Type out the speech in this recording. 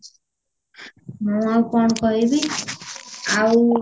ମୁଁ ଆଉ କଣ କହିବି ଆଉ